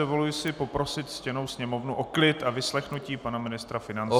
Dovoluji si poprosit ctěnou Sněmovnu o klid a vyslechnutí pana ministra financí.